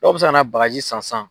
Dɔw bɛ se ka na bagaji san sisan